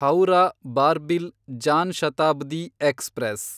Howrah Barbil Jan Shatabdi express